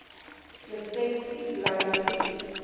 lisensie bly vier